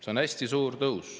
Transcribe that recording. See on hästi suur tõus.